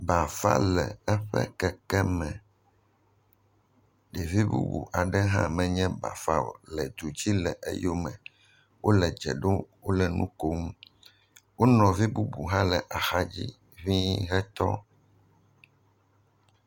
Bafã le eƒe kekeme. Ɖevi bubu aɖe hã menye bafã o le du dzi le eyome. Wole dze ɖom. Wole nu kom. Wo nɔvi bubu hã le axadzi ŋɛ̃I hetɔ.